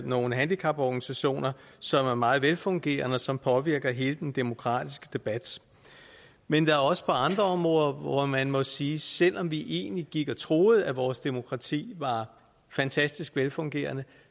nogle handicaporganisationer som er meget velfungerende og som påvirker hele den demokratiske debat men der er også andre områder hvor man må sige at selv om vi egentlig gik og troede at vores demokrati var fantastisk velfungerende